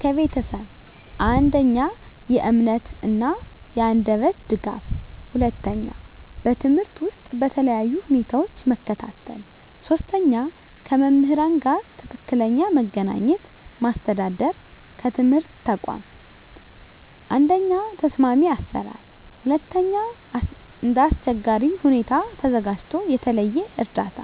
ከቤተሰብ፦ 1. የእምነት እና የአንደበት ድጋፍ 2. በትምህርት ውስጥ በተለያዩ ሁኔታዎች መከታተል 3. ከመምህራን ጋር ትክክለኛ መገናኘት ማስተዳደር ከትምህርት ተቋም፦ 1. ተስማሚ አሰራር 2. እንደ አስቸጋሪ ሁኔታ ተዘጋጅቶ የተለየ እርዳታ